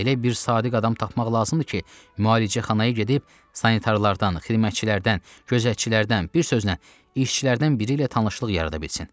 Elə bir sadiq adam tapmaq lazımdır ki, müalicəxanağa gedib sanitarılardan, xidmətçilərdən, gözətçilərdən, bir sözlə, işçilərdən biri ilə tanışlıq yarada bilsin.